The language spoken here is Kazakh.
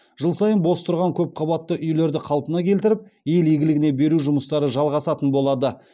жыл сайын бос тұрған көпқабатты үйлерді қалпына келтіріп ел игілігіне беру жұмыстары жалғасатын болады